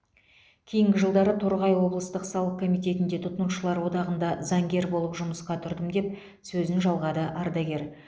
кейін жылдары торғай облыстық салық комитетінде тұтынушылар одағында заңгер болып жұмысқа тұрдым деп сөзін жалғады ардагер